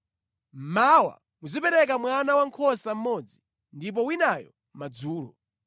Mmawa muzipereka mwana wankhosa mmodzi ndipo winayo madzulo.